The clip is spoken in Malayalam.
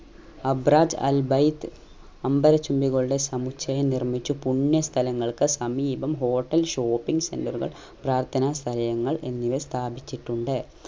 അബ്റാത് അൽ ബൈത് അംബര ചുംബികളുടെ സമുച്ചയം നിർമിച്ചു പുണ്യ സ്ഥലങ്ങൾക്ക് സമീപം hotel shpping centre കൾ പ്രാർത്ഥന സഹയങ്ങൾ എന്നിവ സ്ഥാപിച്ചിട്ടുണ്ട്